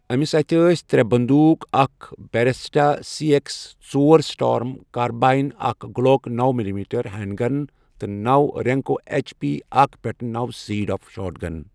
أمِس اتھِ ٲس ترٛےٚ بندوٗق اکھ بیریٹا سی ایکس ژور سٹارم کارباین، اکھ گلوک نوَ ملی میٹر ہینڈگن، تہٕ نورینکو ایچ پی اکھ پیٹھ نوَ سیڈ آف شاٹ گنَ